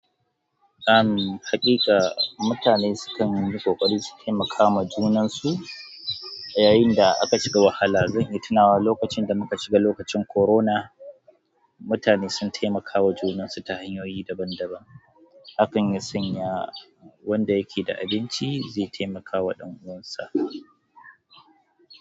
Ahm, haƙiƙa mutane sukan yi ƙoƙari su taimaka ma junansu yayin da aka shiga wahala. Zan iya tunawa lokacin da muka shiga lokacin corona, mutane sun taimakawa junansu ta hanyoyi daban daban. Hakan ya sanya wanda yake da abinci zai taimakawa ɗan uwansa.